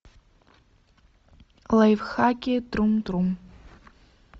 лайфхаки трум трум